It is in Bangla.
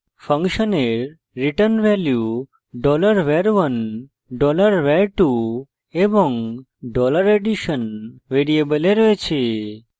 ফাংশনের return ভ্যালু $var1 $var2 এবং $addition ভ্যারিয়েবলে রয়েছে